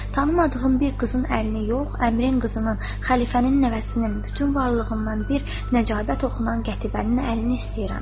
“Tanımadığım bir qızın əlini yox, Əmrin qızının, Xəlifənin nəvəsinin, bütün varlığından bir nəcabət oxunan Qətibənin əlini istəyirəm.”